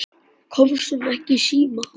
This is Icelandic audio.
Komst hún ekki í síma?